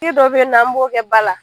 dɔ bɛ yen nɔ an b'o kɛ ba la